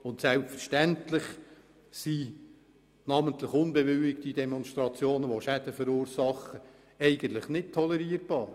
Und selbstverständlich sind namentlich unbewilligte Demonstrationen, bei denen Schäden verursacht werden, nicht tolerierbar.